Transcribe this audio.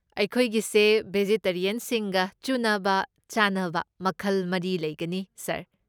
ꯑꯩꯈꯣꯏꯒꯤꯁꯦ ꯕꯦꯖꯤꯇꯦꯔꯤꯌꯟꯁꯤꯡꯒ ꯆꯨꯅꯕ ꯆꯥꯅꯕ ꯃꯈꯜ ꯃꯔꯤ ꯂꯩꯒꯅꯤ ꯁꯥꯔ꯫